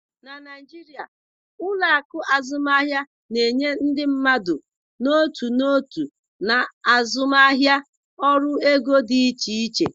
Na Naijiria, ụlọ akụ azụmaahịa na-enye ndị mmadụ n'otu n'otu na azụmaahịa ọrụ ego dị iche iche.